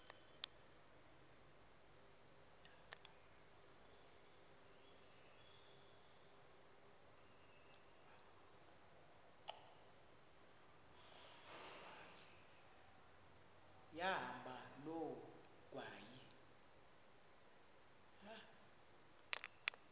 yahamba loo ngxwayi